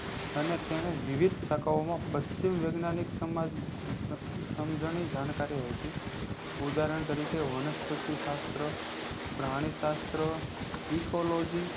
અને તેને વિવિધ સાખાઓ મા પશ્ચિમ વિજ્ઞાનીક સમાજ નિ સમજનિક જાનકારિ હોય છે ઉદાહરણ તરિકે વનસ્પતિશાસ્ત્ર પ્રાણિશાસ્ત્ર ecology